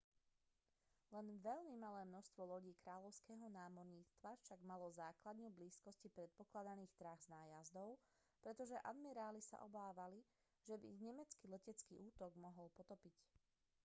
len veľmi malé množstvo lodí kráľovského námorníctva však malo základňu v blízkosti predpokladaných trás nájazdov pretože admiráli sa obávali že by ich nemecký letecký útok mohol potopiť